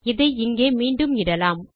இதை இங்கே மீண்டும் இடலாம்